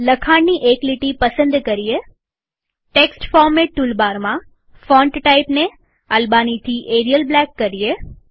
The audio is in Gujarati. લખાણની એક લીટી પસંદ કરીએટેક્સ્ટ ફોરમેટ ટૂલ બારમાંફોન્ટ ટાઈપને અલ્બાની થી એરિઅલ બ્લેક કરીએ